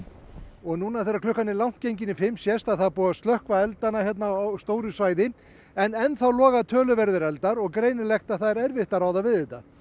og núna þegar klukkan er langt gengin í fimm sést að það er búið að slökkva eldana hérna á stóru svæði en enn þá loga töluverðir eldar og greinilegt að það er erfitt að ráða við þetta